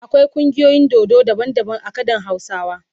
Akwai kungiyoyin dodo daban daban a kadan hausawa.